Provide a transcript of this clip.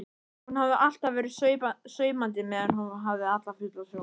Hún hafi alltaf verið saumandi meðan hún hafði fulla sjón.